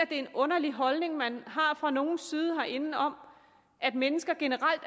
en underlig holdning man har fra nogens side herinde om at mennesker generelt